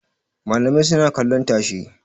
Malamai suna kallon tashe.